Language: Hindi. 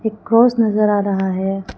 एक क्रॉस नजर आ रहा है।